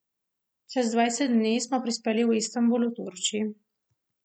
Čez dvajset dni smo prispeli v Istanbul v Turčiji.